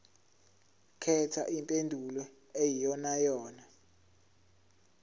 khetha impendulo eyiyonayona